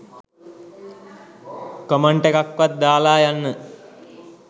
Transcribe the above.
comment එකක් වත් දාලා යන්න